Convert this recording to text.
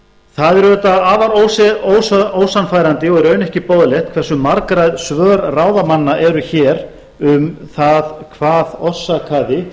það er auðvitað afar ósannfærandi og í raun ekki boðlegt hversu margræð svör ráðamanna eru hér um það hvað orsakaði